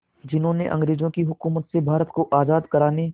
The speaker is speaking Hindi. जिन्होंने अंग्रेज़ों की हुकूमत से भारत को आज़ाद कराने